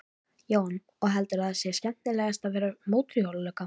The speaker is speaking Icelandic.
Jóhann: Og heldurðu að það sé skemmtilegast að vera mótorhjólalögga?